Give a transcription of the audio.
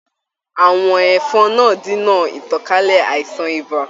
Àwọ̀n ẹ̀fọn náà dínà ìtànkálẹ̀ àìsàn ibà.